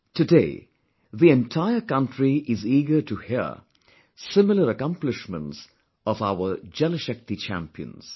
Today the entire country is eager to hear similar accomplishments of our Jal Shakti champions